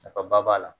Nafaba b'a la